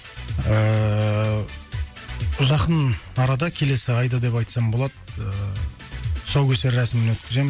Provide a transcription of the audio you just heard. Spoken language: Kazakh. ыыы жақын арада келесі айда деп айтсам болады ыыы тұсаукесер рәсімін өткіземін